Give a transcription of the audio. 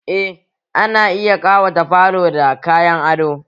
Eh ana iya kawata falo da kayan ado